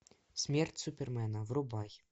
смерть супермена врубай